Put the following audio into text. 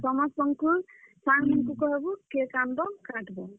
ସମସ୍ତଙ୍କୁ ସାଙ୍ଗ ମାନଙ୍କୁ କହେବୁ cake ଆନ୍ ବ କାଟ୍ ବ।